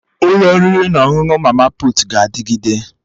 Ụlọ oriri na ọṅụṅụ ndị mama putu ga-adịgide